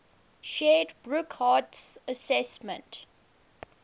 shared burckhardt's assessment